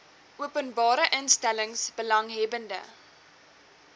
openbare instellings belanghebbende